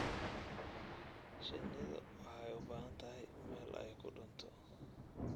Shinnidu waxay u baahan tahay meel ay ku dhuunto.